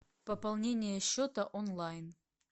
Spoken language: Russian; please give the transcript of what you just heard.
пополнение счета онлайн